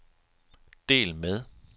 del med